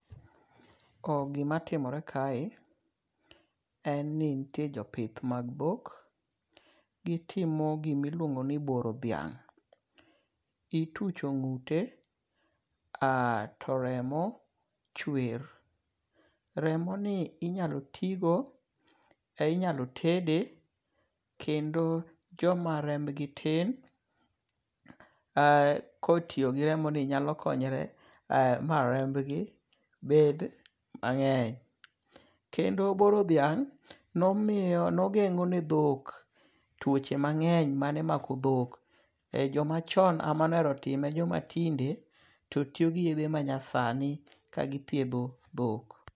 Gima timore kae en ni nitie jopith mag dhok. Gitimo gimiluongo ni boro dhiang'. Itucho ng'ute to remo chwer. Remoni inyalo tigo inyalo tede kendo joma remb gi tin kotiyogi remoni nyalokonyre ma rembgi bed mang'eny. Kendo boro dhiang' nomiyo ne geng'o ne dhok tuoche mang'eny mane mako dhok. Joma chon e mane ohero time. Joma tinde to tiyo gi yedhe ma nyasani ka githiedho dhok.